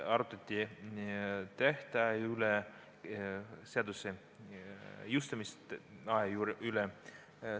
Arutati seaduse jõustumise tähtaega.